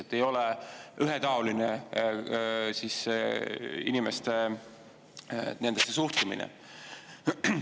– et see ei ole ühetaoline inimestesse suhtumine.